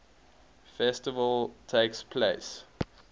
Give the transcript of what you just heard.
festival takes place